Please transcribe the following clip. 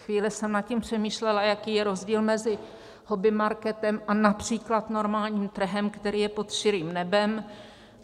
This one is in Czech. Chvíli jsem nad tím přemýšlela, jaký je rozdíl mezi hobbymarketem a například normálním trhem, který je pod širým nebem.